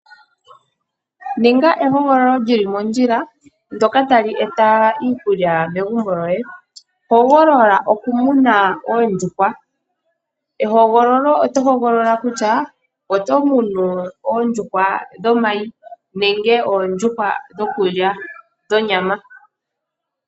Ninga ehogololo lyili mondjila ndoka tali eta iikulya megumbo loye. Hogolola okumuna oondjuhwa, ehogololo oto hogolola kutya oto munu oondjuhwa dhomayi, nenge oondjuhwa dhonyama.